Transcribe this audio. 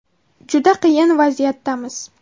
Juda qiyin vaziyatdamiz.